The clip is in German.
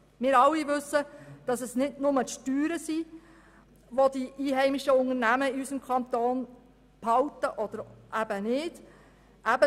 Wir alle wissen, dass es nicht nur die Steuern sind, die die einheimischen Unternehmen in unserem Kanton halten oder eben nicht halten.